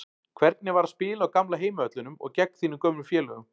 Hvernig var að spila á gamla heimavellinum og gegn þínum gömlu félögum?